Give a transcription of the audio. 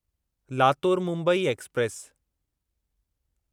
Latur Mumbai express